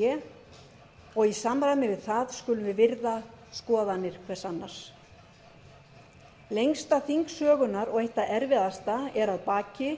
sé og í samræmi við það skulum við virða skoðanir hvert annars lengsta þing sögunnar og eitt það erfiðasta er að baki